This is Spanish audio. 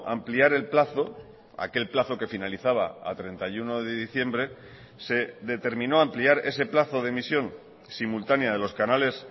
ampliar el plazo aquel plazo que finalizaba a treinta y uno de diciembre se determinó ampliar ese plazo de emisión simultanea de los canales